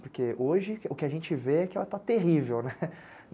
Porque hoje o que a gente vê é que ela está terrível, né.